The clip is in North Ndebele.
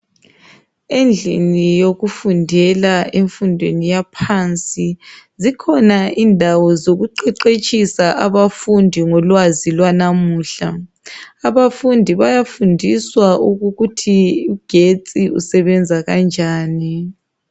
Endlini yokufundela emfundweni yaphansi zikhona indawo zokuqeqetshisa abafundi ngolwazi lwanamuhla. Abafundi bayafundiswa ukuthi ugetsi usebenza kanjani.